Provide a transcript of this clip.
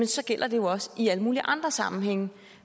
så gælder det jo også i alle mulige andre sammenhænge